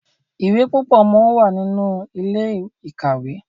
ìwé púpọ món wá nínú Ilé-ìkàwé.